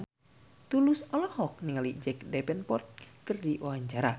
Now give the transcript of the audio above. Tulus olohok ningali Jack Davenport keur diwawancara